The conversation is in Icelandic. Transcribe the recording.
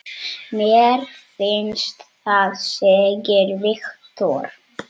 Mér finnst það segir Viktor.